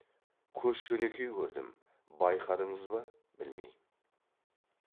көш жөнекей көрдім байқадыңыз ба білмеймін